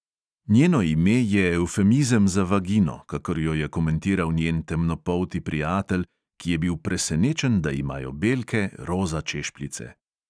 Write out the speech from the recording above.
Njeno ime je evfemizem za vagino, kakor jo je komentiral njen temnopolti prijatelj, ki je bil presenečen, da imajo belke roza češpljice.